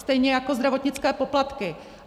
Stejně jako zdravotnické poplatky.